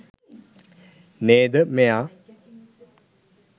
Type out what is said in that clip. නේද මෙයා